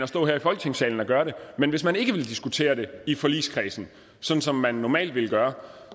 står her i folketingssalen og gør det men hvis man ikke vil diskutere det i forligskredsen sådan som man normalt ville gøre